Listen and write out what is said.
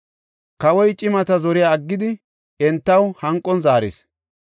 Kawoy cimata zoriya aggidi entaw hanqon zaaris.